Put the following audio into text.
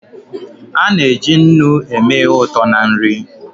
A na-eji nnu eme ihe ụtọ na nri.